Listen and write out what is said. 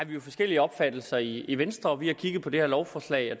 jo forskellige opfattelser i venstre vi har kigget på det her lovforslag